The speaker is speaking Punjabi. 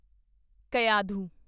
ਕਯਾਧੂ